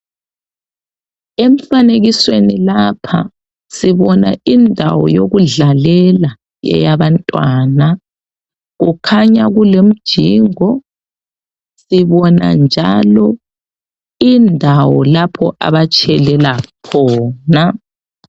Emfanekisweni lapha sibona indawo yokudlalela eyabantwana, kukhanya kulemjingo, sibona njalo indawo lapho abatshelela khona.